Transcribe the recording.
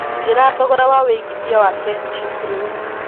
njĩra thogora wa wĩigĩthĩa wa kenchic rĩũ